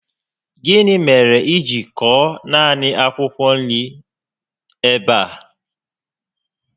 Gịnị mèrè I ji kọọ naanị akwụkwọ nri ebe a?